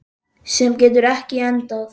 Sem getur ekki endað.